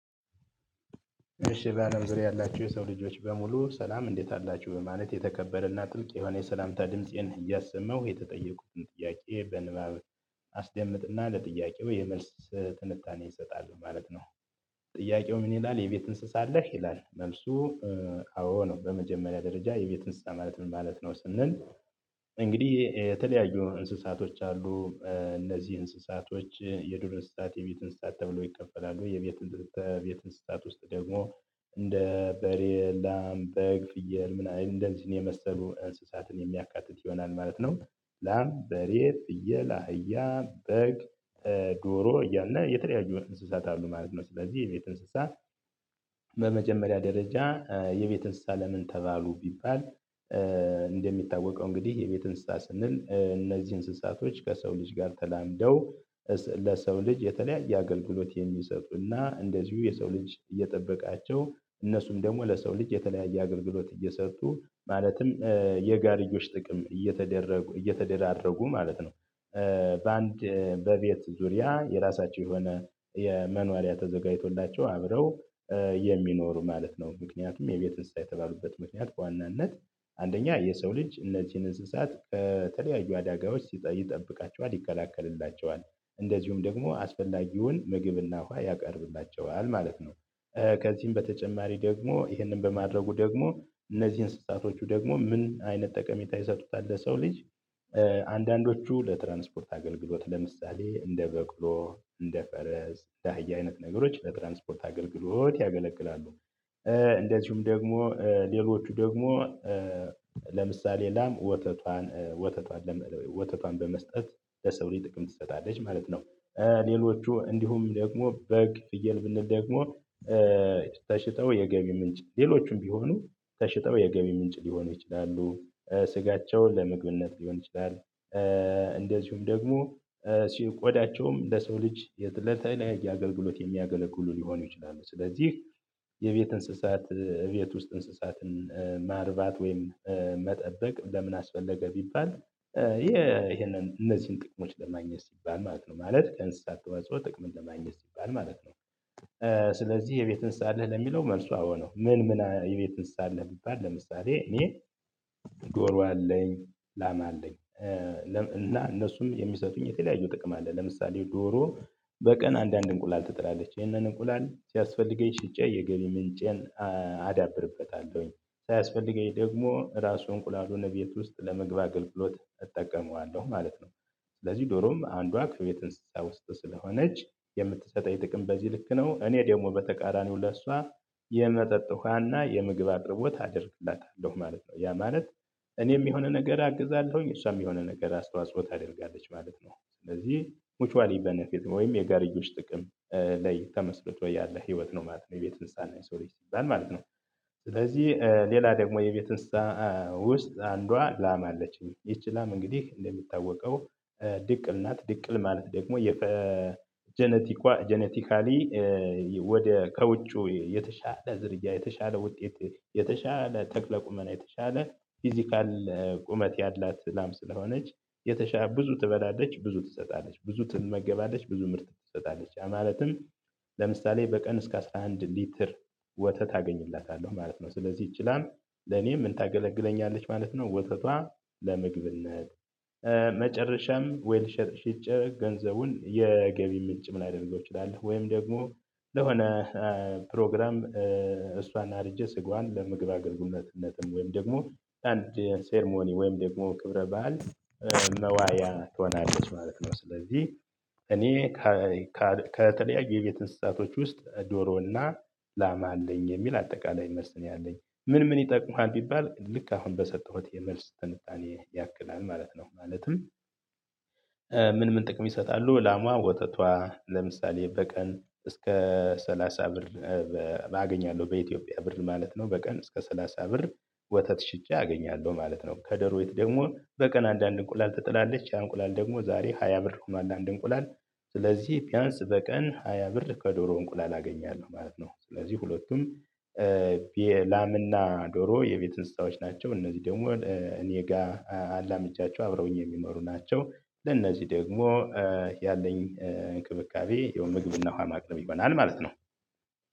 እሺ በአለም ዙሪያ ያላችሁ የሰው ልጆች በሙሉ ሰላም እንዴት አላችሁ ማለት የተከበረና ጥልቅ የሆነ የሰላምታ ድምፄን እያሰመው የተጠየቁትን ጥያቄ በንባብ አስደምጥና ለጥያቄው የመልስ ትንታኔ እሰጣለሁ ማለት ነው ጥያቄው ምን ይላል የቤት እንስሳ አለህ? ይላል መልሱ አዎ ነው በመጀመሪያ ደረጃ የቤት እንስሳ ማለት ምን ማለት ነው ስንል እንግዲህ የተለያዩ እንስሳቶች አሉ እነዚህ እንስሳቶች የዱር እንስሳት የቤት እንስሳት ተብሎ ይከፈላሉ የቤት እንስሳት ውስጥ ደግሞ እንደ በሬ፣ ላም፣ በግ ፍየል ምናምን እነዚህ የመሰሉ እንስሳትን የሚያካትት ይሆናል ማለት ነው ላም በሬ ፍየል እህያ በግ ዶሮ እያለ የተለያዩ እንስሳት አሉ ማለት ነው ስለዚህ የቤት እንስሳት በመጀመሪያ ደረጃ የቤት እንስሳ ለምን ተባሉ ቢባል እንደሚታወቀው እንግዲህ የቤት እንስሳ ስንል እነዚህ እንስሳቶች ከሰው ልጅ ጋር ተላምደው ለሰው ልጅ የተለያየ አገልግሎት የሚሰጡና እንደዚሁ የሰው ልጅ እየጠበቃቸው እነሱም ደግሞ ለሰው ልጅ የተለያየ አገልግሎት እየሰሩ ማለትም የጋሪዮች ጥቅም እየተደረጉ እየተደራረጉ ማለት ነው በአንድ በቤት ዙሪያ የራሳቸው የሆነ የመኖሪያ ተዘጋጅቶላቸው አብረው የሚኖሩ ማለት ነው ምክንያቱም የቤት እንስሳ የተባሉበት ምክንያት በዋናነት አንደኛ የሰው ልጅ እነዚህን እንስሳት ከተለያዩ አደጋዎች ሲጠይቅ ይጠብቃቸዋል ይከላከልላቸዋል እንደዚሁም ደግሞ አስፈላጊውን ምግብና ውሃ ያቀርብላቸዋል ማለት ነው ከዚህም በተጨማሪ ደግሞ ይህንን በማድረጉ ደግሞ እነዚህን እንስሳቶቹ ደግሞ ምን አይነት ጠቀሜታ ይሰጡታል ለሰው ልጅ አንዳንዶቹ ለትራንስፖርት አገልግሎት ለምሳሌ እንደ በቅሎ እንደ ፈረስ እንደ አህያ አይነት ነገሮች ለትራንስፖርት አገልግሎት ያገለቅላሉ እንደዚሁም ደግሞ ሌሎቹ ደግሞ ለምሳሌ ላም ወተቷን በመስጠት ለሰው ጥቅም ትሰጣለች ማለት ነው ሌሎቹ እንዲሁም ደግሞ በግ ጥየል ብንል ደግሞ ተሽጠው የገቢ ምንጭ ሌሎቹም ቢሆኑ ተሽጠው የገቢ ምንጭ ሊሆኑ ይችላሉ ስጋቸውን ለምግብነት ሊሆን ይችላል እንደዚሁም ደግሞ ቆዳቸውም ለሰው ልጅ ለተለያየ አገልግሎት የሚያገለግሉ ሊሆኑ ይችላሉ ስለዚህ የቤት እንስሳት እቤት ውስጥ እንስሳትን ማርባት ወይም መጠበቅ ለምን አስፈለገ ቢባል ይሄንን እነዚህን ጥቅሞች ለማግኘት ሲባል ማለት ነው ማለት ከእንስሳት ተወጽኦ ጥቅም ለማግኘት ሲባል ማለት ነው ስለዚህ የቤት እንስሳ አለህ ለሚለው መልሱ አወ ነው ምን ምን የቤት እንስሳ አለህ ቢባል ለምሳሌ እኔ ዶሮ አለኝ ላም አለኝ እና እነሱም የሚሰጡኝ የተለያዩ ጥቅም አለ ለምሳሌ ዶሮ በቀን አንዳንድ እንቁላል ትጥላለች ይህንን እንቁላል ሲያስፈልገኝ ሽጨ የገቢ ምንጨን አዳብርበታለሁኝ ሳያስፈልገኝ ደግሞ ራሱን እንቁላሉን እቤት ውስጥ ለምግብ አግልግሎት እጠቀመዋለሁ ማለት ነው ስለዚህ ዶሮም አንዷ ከቤት እንስሳት ውስጥ ስለሆነች የምትሰጠኝ ጥቅም በዚህ ልክ ነው እኔ ደግሞ በተቃራኒው ለእሷ የመጠጥ ውሃና የምግብ አቅርቦት አደርግላታለሁ ማለት ነው። ያ ማለት እኔም የሆነ ነገር አግዛለሁኝ እሷም የሚሆነ ነገር አስተዋጽኦ ታደርጋለች ማለት ነው ስለዚህ ሙቹዋሊ በነፊት ወይም የጋሪዮች ጥቅም ለይ ተመስርቶ ያለ ህይወት ነው ማለት ነው የቤት እንስሳና የሰው ልጅ ሲባል ነው ስለዚህ ሌላ ደግሞ የቤት እንስሳ ውስጥ አንዷ ላም አለችኝ ይቺ ላም እንግዲህ እንደሚታወቀው ድቅል ናት ድቅል ማለት ደግሞ የጀነቲካሊ ወደ ከውጩ የተሻለ ዝርያ የተሻለ ውጤት የተሻለ ተክለ ቁመና የተሻለ ፊዚካል ቁመት ያላት ላም ስለሆነች የተሻለ ብዙ ትበላለች ብዙ ትሰጣለች ብዙ ትመገባለች ብዙ ምርት ትሰጣለች ያ ማለትም ለምሳሌ በቀን እስከ አሰራ አንድ ሊትር ወተት አገኝላታለሁ ማለት ነው። ስለዚህ ይቺ ላም ለኔ ምን ታገለግለኛለች ማለት ነው ወተቷ ለምግብነት መጨረሻም ዌልሸር ሽጨ ገንዘቡን የገቢ ምንጭም ላደርገው እችላለሁ ወይም ደግሞ ለሆነ ፕሮግራም እሷን አርጄ ስጋዋን ለምግብ አገልግሎትነትም ወይም ደግሞ አንድ ሰረሞኒ ወይም ደግሞ ክብረ በዓል መዋያ ትሆናለች ማለት ነው ስለዚህ እኔ ከተለያዩ የቤት እንስሳቶች ውስጥ ዶሮና ላማ አለኝ የሚል አጠቃላይ መልስ ነው ያለኝ። ምን ምን ይጠቅሙሀል ቢባል ልክ አሁን በሰጠሁት የመልስ ትንታኔ ያክላል ማለት ነው ማለትም ምን ምን ጥቅም ይሰጣሉ ላሟ ወተቷ ለምሳሌ በቀን እስከ ሰላሳ ብር አገኛለሁ በኢትዮጵያ ብር ማለት ነው። በቀን እስከ ሰላሳ ብር ወተት ሽጨ አገኛለሁ ማለት ነው። ከዶረይቱ ደግሞ በቀን አንዳንድ እንቁላል ትጥላለች ያ አንቁላል ደግሞ ዛሬ ሃያ ብር ሆኗል አንድ እንቁላል ስለዚህ ቢያንስ በቀን ሃያ ብር ከዶሮ እንቁላል አገኛለሁ ማለት ነው ስለዚህ ሁለቱም የላምና ዶሮ የቤት እንስሳዎች ናቸው እነዚህ ደግሞ እኔ ጋር አላምጃቸው አብረውኝ የሚመሩ ናቸው ለእነዚህ ደግሞ ያለኝ እንክብካቤ የምግብና ውሃ ማቅረብ ይሆናል ማለት ነው